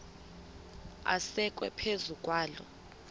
asekwe phezu kwaloo